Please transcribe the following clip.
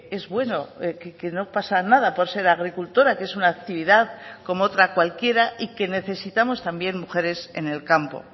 es bueno que no pasa nada por ser agricultora que es una actividad como otra cualquiera y que necesitamos también mujeres en el campo